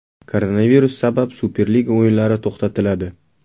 Koronavirus sabab Superliga o‘yinlari to‘xtatiladi.